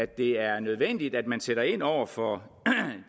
det er nødvendigt at man sætter ind over for